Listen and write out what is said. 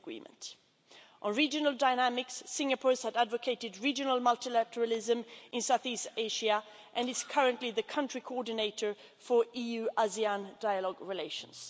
On regional dynamics, Singapore has advocated regional multilateralism in South east Asia and is currently the country coordinator for EU ASEAN dialogue relations.